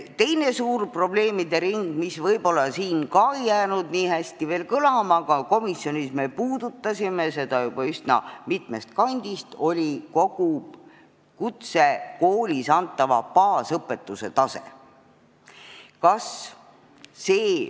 Teine suur probleemide ring, mis võib-olla ei jäänud siin veel nii hästi kõlama, aga mida me komisjonis puudutasime üsna mitmest kandist, on kutsekoolis antava baasõpetuse tase.